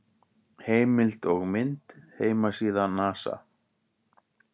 Heimild og mynd: Heimasíða NASA.